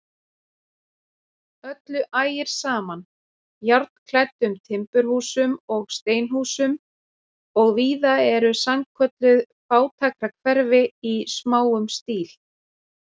Öllu ægir saman, járnklæddum timburhúsum og steinhúsum, og víða eru sannkölluð fátækrahverfi í smáum stíl.